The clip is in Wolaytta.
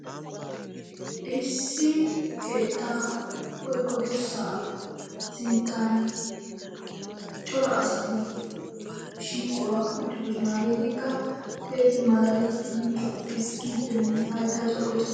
Issi keettaa woykko dirssaa sinttan cora asati shiiquwa uttidosona. Hageetikka keehippe malaalettidi ezggiiddinne hayttaa corggossi....